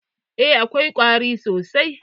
Eh, akwai ƙwari sosai.